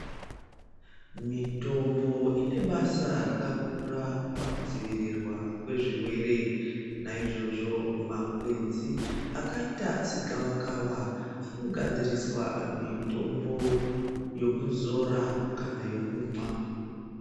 Mitombo ine basa rakakura pakudzivirirwa kwezvirwere naizvozvo makwenzi akaita segavakava anogadziriswa mitombo yekuzora kana yokumwa.